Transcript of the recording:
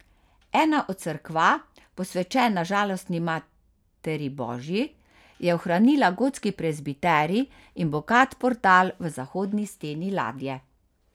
Ena od cerkva, posvečena Žalostni Materi božji, je ohranila gotski prezbiterij in bogat portal v zahodni steni ladje.